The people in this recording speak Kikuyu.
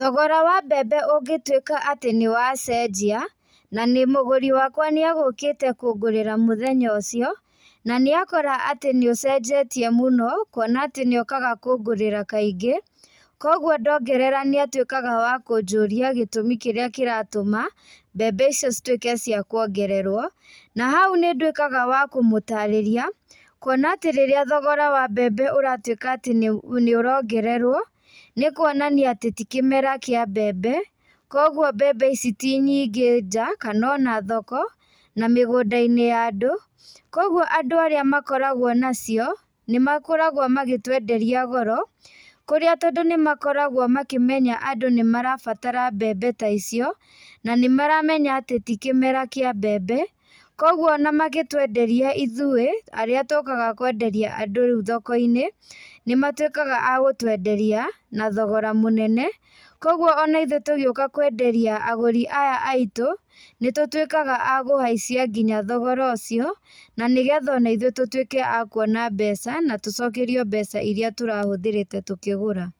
Thogora wa mbembe ũngĩtuĩka atĩ nĩwacenjia, na nĩ mũgũri wakwa nĩagũkĩte kũngũrĩra mũthenya ũcio, na nĩakora atĩ nĩũcenjetie mũno, kuona atĩ niokaga kũngũrĩra kaingĩ, koguo ndongerera nĩatuĩkaga wa kũnjũria gĩtũmi kĩrĩa kĩratũma, mbembe icio cituĩke cia kuongererwo, na hau nĩndũikĩga wa kũmũtarĩria, kuona atĩ rĩrĩa thogora wa mbembe ũratuĩka atĩ nĩũrongererwo, nĩkuonania atĩ ti kĩmera kĩa mbembe, koguo mbembe ici ti nyingĩ nja, kana ona thoko, na mĩgũndainĩ ya andũ, koguo andũ arĩa makoragwo nacio, nĩmakoragwo magĩtwenderia goro, kũrĩa tondũ nĩmakoragwo makĩmenya andũ nĩmarabatara mbembe ta icio, na nĩmaramenya atĩ ti kĩmera kĩa mbembe, koguo ona magĩtwenderia ithuĩ arĩa tũkaga kwenderia andũ riũ thokoinĩ, nĩmatuĩkaga a gũtwenderia na thogora mũnene, koguo ona ithuĩ tũgĩuka kwenderia agũri aya aitũ, nĩtũtũtuĩkaga a kũhaicia nginya thogora ũcio, na nĩgetha ona ithuĩ tũtuĩke akuona mbeca, na tũcokerio mbeca iria tũrahũthĩrĩte tũkĩgũra.